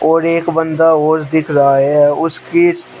और एक बंदा और दिख रहा है उसकी --